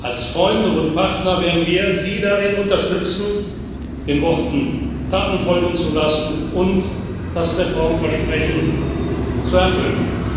Als Freunde und Partner werden wir Sie darin unterstützen, den Worten Taten folgen zu lassen und das Reformversprechen zu erfüllen.